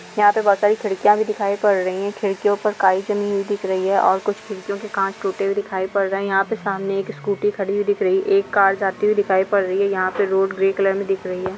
यहाँ पे बहुत सारे खिड़कियाँ भी दिखाई पड रही है खिड़कीयो पर काई जमी हुई दिख रही है और कुछ खिड़कियों के कांच टूटे हुये दिखाई पड रहे है यहाँ पे सामने एक स्कूटी खडि दिख रही है एक कार जाति हुई दिखाई पड रही है यहाँ पे रोड ग्रे कलर मे दिख रही है।